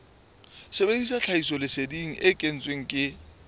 sebedisa tlhahisoleseding e kentsweng ke